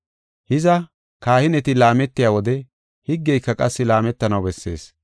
Hiza, kahineti laametiya wode higgeyka qassi laametanaw bessees.